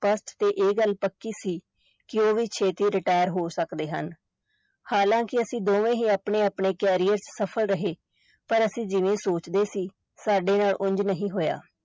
ਸਪਸ਼ਟ ਤੇ ਇਹ ਗੱਲ ਪੱਕੀ ਸੀ ਕਿ ਉਹ ਵੀ ਛੇਤੀ retire ਹੋ ਸਕਦੇ ਹਨ, ਹਾਲਾਂਕਿ ਅਸੀਂ ਦੋਵੇਂ ਹੀ ਆਪਣੇ ਆਪਣੇ career ਵਿਚ ਸਫ਼ਲ ਰਹੇ, ਪਰ ਅਸੀਂ ਜਿਵੇਂ ਸੋਚਦੇ ਸੀ, ਸਾਡੇ ਨਾਲ ਉੰਞ ਨਹੀਂ ਹੋਇਆ।